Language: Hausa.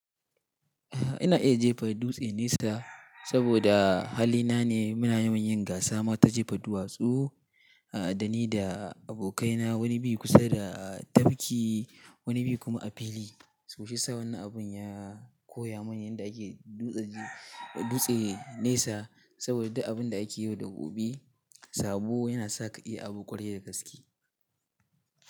Ina iya jefa dutse nesa saboda hali na ne muna yawan yin gasa ma ta jefa duwatsu da ni da abokaina wani bin kusa da tafki wani bin kuma a fili so shi yasa wannan abun ya koya min yadda ake dutse, dutse nesa saboda abun da ake yi wa dabobi sabo yana sa ka iya abu ƙwarai da gaske.